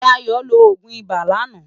Dayo ló ógún ibá làná